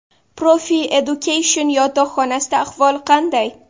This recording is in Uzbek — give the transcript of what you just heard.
Profi Education yotoqxonasida ahvol qanday?.